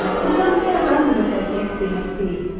Deməli bu da həyata tam müvəffəqiyyət demək deyil.